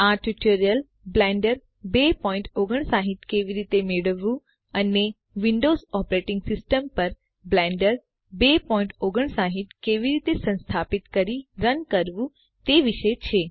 આ tutorial Blender 259 કેવી રીતે મેળવવું અને વિંડોવ્ઝ ઓપરેટીંગ સીસ્ટમ પર બ્લેન્ડર 259 કેવી રીતે સંસ્થાપિત કરી રન કરવું તે વિશે છે